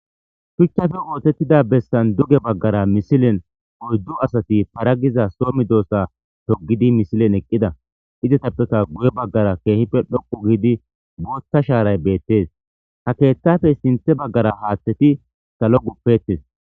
shuchchafe ootettida bessan duge baggara misilen oyddu asati para giza soomi doossa togidi misilen eqqida izetappeka guye baggara keehife dhoqu giidi boota shaaray beettes ha keettafe sinthe baggara haaththeti salo guppettes